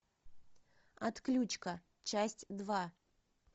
отключка часть два